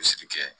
kɛ